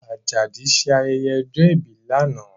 Ajadi ṣe ayẹyẹ ọjọ́ ìbí lánàá